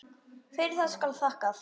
Fyrir það skal þakkað.